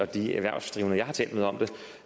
de erhvervsdrivende jeg har talt med om det